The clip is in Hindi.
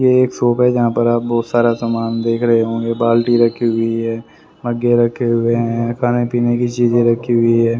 ये एक शॉप है जहां पर आप बहुत सारा सामान देख रहे होंगे बाल्टी रखी हुई है मग्गे रखे हुए हैं खाने पीने की चीजें रखी हुई ह--